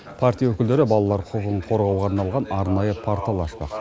партия өкілдері балалар құқығын қорғауға арналған арнайы портал ашпақ